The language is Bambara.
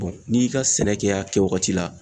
n'i y'i ka sɛnɛ kɛ a kɛ wagati la